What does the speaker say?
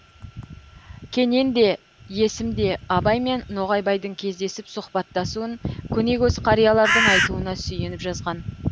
кенен де есім де абай мен ноғайбайдың кездесіп сұхбаттасуын көне көз қариялардың айтуына сүйеніп жазған